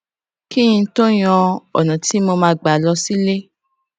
kí n tó yan ònà tí mo máa gbà lọ sílé